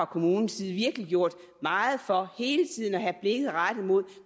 kommunens side virkelig gjort meget for hele tiden at have blikket rettet mod